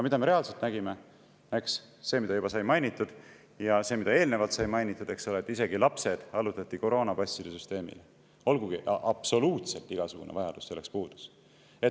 Aga me reaalselt nägime seda, eks, mida juba sai mainitud, et isegi lapsed allutati koroonapasside süsteemile, olgugi et absoluutselt igasugune vajadus selleks puudus.